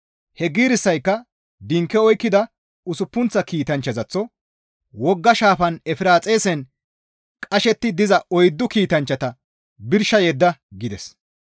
He giirissayka dinke oykkida usuppunththa kiitanchchazaththo, «Wogga shaafan Efiraaxisen qashetti diza oyddu kiitanchchata birsha yedda» gides.